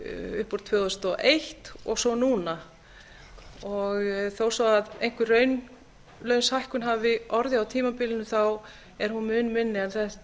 upp úr tvö þúsund og eins og svo núna þó svo einhver raunlaus hækkun hafi orðið á tímabilinu þá er hún mun minni heldur en